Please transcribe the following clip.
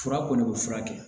Fura kɔni bɛ fura kɛ